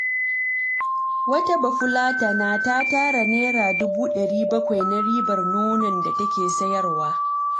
Wata bafulatana ta tara Naira dubu 700, na ribar nonon da take sayarwa.